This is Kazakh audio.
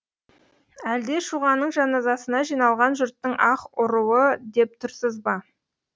әлде шұғаның жаназасына жиналған жұрттың аһ ұруы деп тұрсыз ба